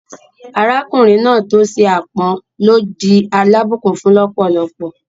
Arákùnrin náà tó ṣe ápọn ló di alábùnkún-fún lọ́pọ̀lọ́pọ̀